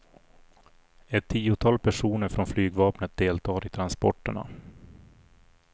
Ett tiotal personer från flygvapnet deltar i transporterna.